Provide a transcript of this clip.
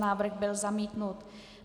Návrh byl zamítnut.